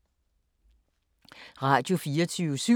Radio24syv